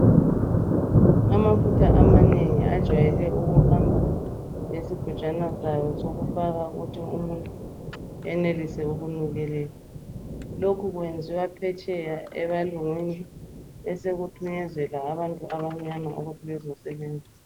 Amafuta amanengi ajwayele ukuhamba lesigujwana sawo sokufaka ukuthi umuntu enelise ukunukelela. Lokhu kwenziwa phetsheya ebalungwini besekuthunyezela abantu abamnyama ukuthi bezosebenzisa.